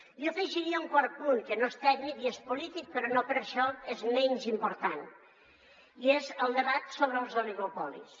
jo hi afegiria un quart punt que no és tècnic i és polític però no per això és menys important i és el debat sobre els oligopolis